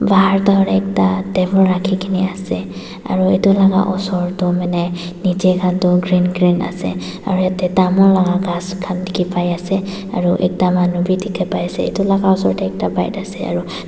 Baher toh hoilae ekta table rakhikae na ase edu laka osor toh hoilae nichae khan tu green green ase aro yatae tamul laka ghas khan dikhipaiase aro ekta manu bi dikhipaiase edu laka osor tae ekta bike ase aro--